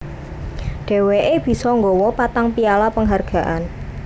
Dheweké bisa nggawa patang piala panghargaan